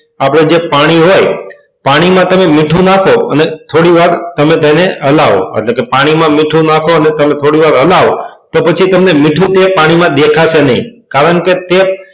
આપણે જે પાણી હોય એમાં તમે મીઠું નાખો અને થોડીવાર હલાવો પાણીમાં મીઠું નાખો અને થોડીવાર તેને હલાવો તો પછી તમને મીઠું ક્યાંય પાણીમાં દેખાશે નહીં કારણ કે તે,